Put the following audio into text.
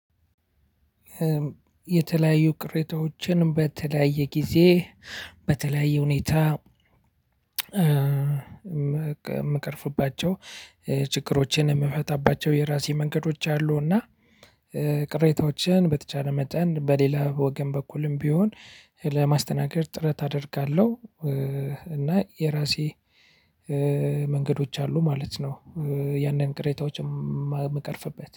የተለያዩ ቅሬታዎችን በተለያየ ጊዜ በተለያየ ሁኔታ የምቀርፍባቸው ችግሮችን የምፈታባቸው የራሴ መንገዶች አሉና። ቅሬታዎችን በተቻለ መጠን በሌላ ወገን በኩልም ቢሆን ለማስተናገድ ጥረት አደርጋለሁ። እና የራሴ መንገዶች አሉ ማለት ነው። ያንን ቅሬታዎችን የምቀርፍበት